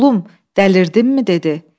Oğlum, dəlirdinmi?